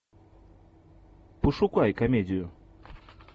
пошукай комедию